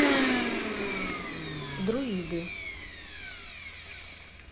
друиды